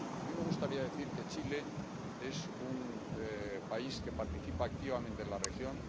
A mí me gustaría decir que Chile es un país que participa activamente en la región